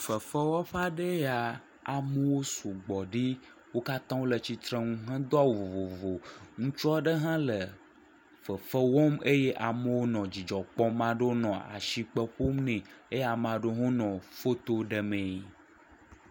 Fefewɔƒe aɖee ya, amewo sugbɔ ɖi, wo katãa wole tsitrenu hedo awu vovovo, ŋutsu aɖe hã le fefe wɔm, amewo nɔ dzidzɔ kpɔm, ame ɖewo nɔ asikpe ƒom nɛ eye ame ɖewo hã nɔ foto ɖemee.